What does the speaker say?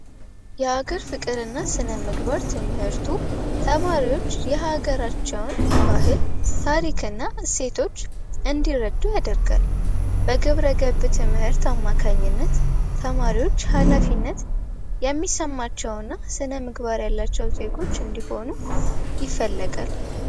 የሀገር ስነምግባር እና ፍቅር ትምህርት ተማሪዎች የሀገራቸውን ባህል ፣ታሪክ እና እሴቶች እንዲረዱ ያደርጋል። በግብረገብ ትምህርት አማካኝነት ተማሪዎች ሀላፊነት የሚሰማቸው እና ስነምግባር ያላቸው ዜጎች እንዲኑ ይፈለጋል።